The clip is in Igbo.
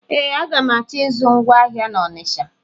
Ee, aga m achọ ịzụ ngwa ahịa na Ọnisha.